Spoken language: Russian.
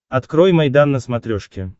открой майдан на смотрешке